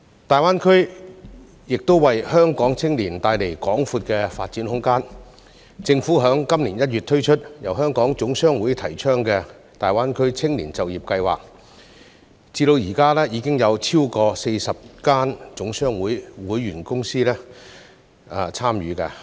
大灣區亦為香港青年帶來廣闊的發展空間，政府在今年1月推出由香港總商會提倡的大灣區青年就業計劃，至今已有超過40家總商會會員公司參與。